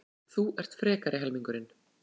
Þú ert frekari helmingurinn.